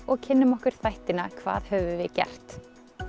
og kynnum okkur þættina hvað höfum við gert